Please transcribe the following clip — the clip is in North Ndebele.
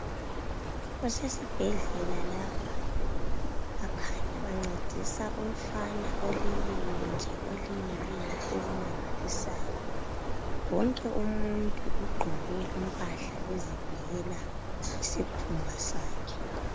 Kusesi bhedlela lapha. Bakanya bacedisa umfana oleleyonje olimeleyo okumangalisayo. Wonke umuntu ugqoke imphahla uvikela isikhumba sakhe.